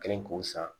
Kɛlen k'o san